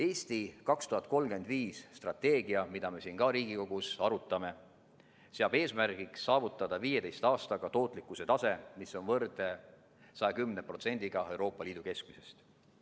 "Eesti 2035" strateegia, mida me ka siin Riigikogus arutame, seab eesmärgiks saavutada 15 aastaga tootlikkuse tase, mis on võrdne 110%-ga Euroopa Liidu keskmisest.